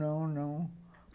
Não, não.